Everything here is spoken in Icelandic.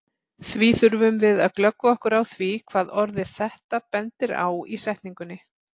Því þurfum við að glöggva okkur á því hvað orðið þetta bendir á í setningunni.